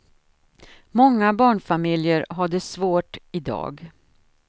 Många barnfamiljer har det svårt i dag.